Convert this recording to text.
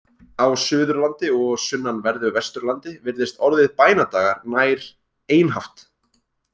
Á Suðurlandi og sunnanverðu Vesturlandi virðist orðið bænadagar nær einhaft.